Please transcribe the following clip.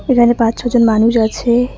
এখানে পাঁচ ছজন মানুষ আছে।